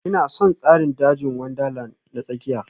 Ina son tsarin dajin Wundarlandi na tsakiya